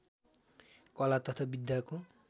कला तथा विद्याको